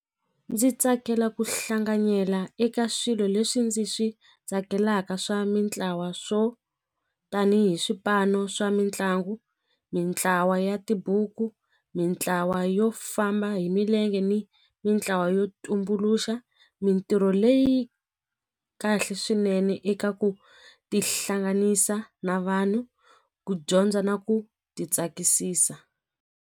Ndzi tsakela ku hlanganyela eka swilo leswi ndzi swi tsakelaka swa mintlawa swo tanihi swipano swa mitlangu mintlawa ya tibuku mintlawa yo famba hi milenge ni mitlawa yo tumbuluxa mitirho leyi kahle swinene eka ku tihlanganisa na vanhu ku dyondza na ku ti tsakisisa.